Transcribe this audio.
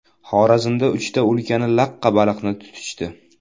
Xorazmda uchta ulkan laqqa baliqni tutishdi .